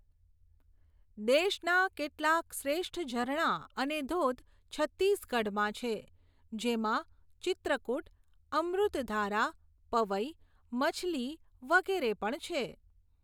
દેશના કેટલાક શ્રેષ્ઠ ઝરણા અને ધોધ છત્તીસગઢમાં છે જેમાં ચિત્રકૂટ, અમૃતધારા, પવઇ, મછલી વગેરે પણ છે.